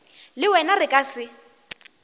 le wena re ka se